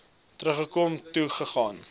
terugkom toe gaan